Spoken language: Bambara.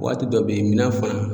Waati dɔ be ye minɛn fɛn nunnu